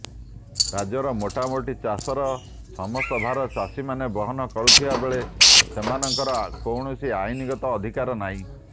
ରାଜ୍ୟର ମୋଟାମୋଟି ଚାଷର ସମସ୍ତ ଭାର ଭାଗଚାଷୀମାନେ ବହନ କରୁଥିବା ବେଳେ ସେମାନଙ୍କର କୌଣସି ଆଇନଗତ ଅଧିକାର ନାହିଁଁ